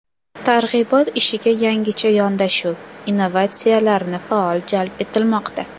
Targ‘ibot ishiga yangicha yondashuv, innovatsiyalarni faol jalb etilmoqda.